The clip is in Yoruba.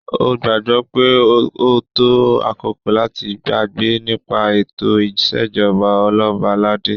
O gbagbọ pe o to akoko lati gbagbe nipa eto isejọba Oloba alade